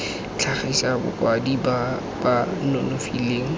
tlhagisa bakwadi ba ba nonofileng